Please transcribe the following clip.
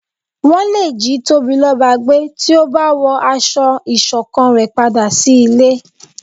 wọn lé jí Tobiloba gbé tí o ba wọ aṣọ ìṣọ̀kan re padà sí ilé